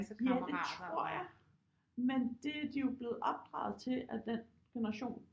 Ja det tror jeg men det de jo blevet opdraget til at den generation